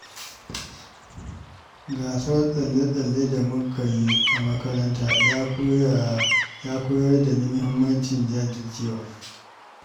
Gasar tsalle-tsalle da muka yi a makaranta ta koyar da ni muhimmancin jajircewa.